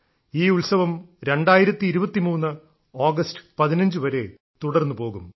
ഈ ഉത്സവം 2023 ആഗസ്റ്റ് 15 വരെ തുടർന്നുപോകും